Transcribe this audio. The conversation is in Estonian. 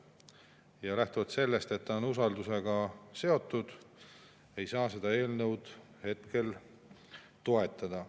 Ja lähtuvalt sellest, et see on usaldusega seotud, ei saa seda eelnõu hetkel toetada.